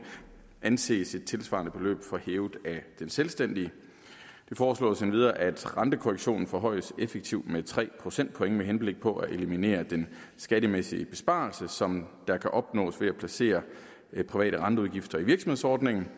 anses et tilsvarende beløb for hævet af den selvstændige det foreslås endvidere at rentekorrektionen forhøjes effektivt med tre procentpoint med henblik på at eliminere den skattemæssige besparelse som der kan opnås ved at placere private renteudgifter i virksomhedsordningen